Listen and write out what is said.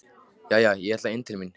Jæja, ég ætla inn til mín.